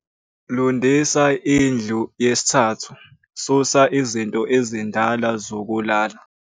Lundisa indlu 3, susa izinto ezindala zokulala.